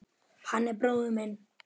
Hann er bróðir minn.